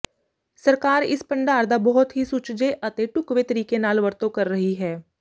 ਸਰਕਾਰ ਇਸ ਭੰਡਾਰ ਦਾ ਬਹੁਤ ਹੀ ਸੁਚੱਜੇ ਅਤੇ ਢੁਕਵੇਂ ਤਰੀਕੇ ਨਾਲ ਵਰਤੋਂ ਕਰ ਰਹੀ ਹੈ